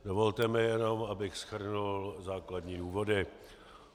Dovolte mi jenom, abych shrnul základní důvody.